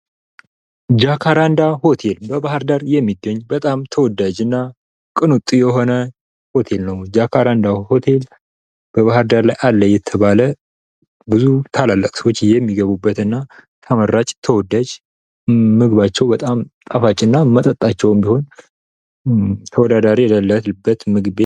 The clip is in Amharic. ጃካራንዳ ሆቴል በባህር ዳር የሚገኝ በጣም ተወዳጅና ቅንጡ የሆነ ሆቴል ነው። ጃካራንዳ ሆቴል በባህር ዳር አለ የተባለ ብዙ ታላላቅ ሰዎች የሚገቡበት እና ተመራጭ ተወዳጅ ምግባቸው በጣም ጣፋጭና መጠጣቸውም ቢሆን ተወዳዳሪ የሌለበት ምግብ ቤት